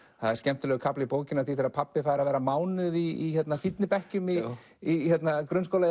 það er skemmtilegur kafli í bókinni af því þegar pabbi fær að vera mánuð í fínni bekkjum í í grunnskóla í